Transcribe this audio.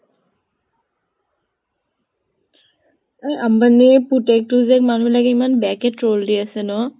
এই আম্বানিৰ পুতেকটো যে, মানুহে বিলাকে ইমান বেয়াকে troll দি আছে ন?